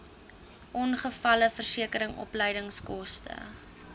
ongevalleversekering opleidingskoste